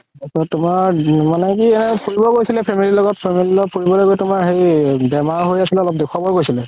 তোমাৰ মানে কি ফুৰিব গৈছিলে family ৰ লগত, family ৰ লগত ফুৰিব লৈ গৈ তুমাৰ হেৰি বেমাৰ হয় আছিল অলপ দেখুৱাব গৈছিলে